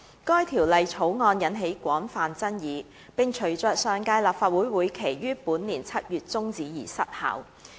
該條例草案引起廣泛爭議，並隨着上屆立法會會期於本年7月中止而失效。